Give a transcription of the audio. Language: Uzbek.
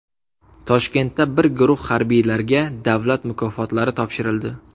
Toshkentda bir guruh harbiylarga davlat mukofotlari topshirildi.